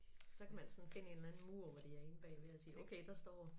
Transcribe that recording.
Så kan man sådan finde en eller anden mur hvor de er inde bagved og sige okay der står